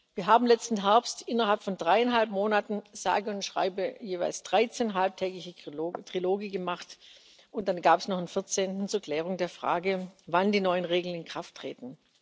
Wir haben letzten Herbst innerhalb von dreieinhalb Monaten sage und schreibe jeweils 13 halbtägige Triloge gemacht, und dann gab es noch einen vierzehnten zur Klärung der Frage, wann die neuen Regeln in Kraft treten.